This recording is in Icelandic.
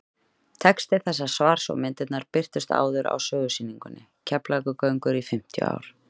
texti þessa svars og myndirnar birtust áður á sögusýningunni keflavíkurgöngur í fimmtíu ár